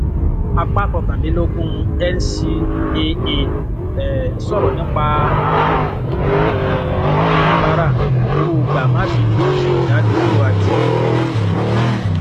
apá kọkàndínlógún ncaa um sọrọ nípa ààbò um oníbàárà owó gbà má bínú ìdádúró àti ìrú rẹ